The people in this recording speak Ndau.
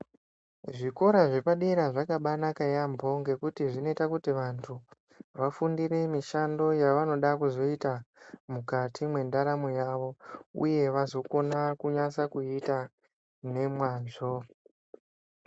Zvikora zvepadera zvakabanaka yambo ngekuti zvinoita kuti vantu vafundire mishando yavanoda kuzoita mukati mwendaramo yavo uye vazokona kunyasa kuita ngemwazvo.